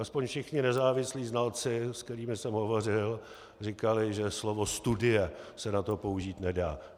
Aspoň všichni nezávislí znalci, se kterými jsem hovořil, říkali, že slovo studie se na to použít nedá.